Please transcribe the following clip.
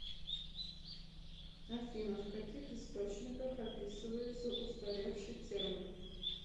афина в каких источниках описывается устаревший термин